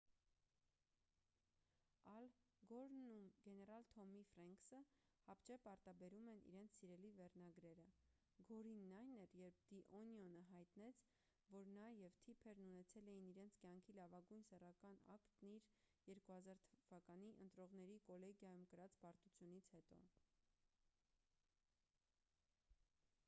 ալ գորն ու գեներալ թոմի ֆրենքսը հապճեպ արտաբերում են իրենց սիրելի վերնագրերը գորինն այն էր երբ «դի օնիոն»-ը հայտնեց որ նա և թիփերն ունեցել էին իրենց կյանքի լավագույն սեռական ակտն իր՝ 2000 թ.-ի ընտրողների կոլեգիայում կրած պարտությունից հետո: